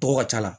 Tɔgɔ ka ca la